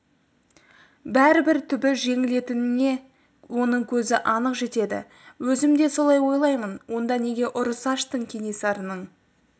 бәрібір түбі жеңетініне оның көзі анық жетеді өзім де солай ойлаймын онда неге ұрыс аштың кенесарының